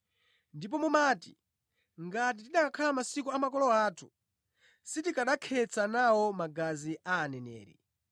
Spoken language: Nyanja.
Ndipo mumati, ‘Ngati tikanakhala mʼmasiku a makolo athu sitikanakhetsa nawo magazi a aneneri.’